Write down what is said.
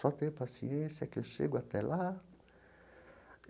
Só ter paciência que eu chego até lá.